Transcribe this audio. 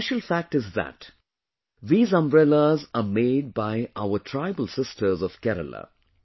And the special fact is that these umbrellas are made by our tribal sisters of Kerala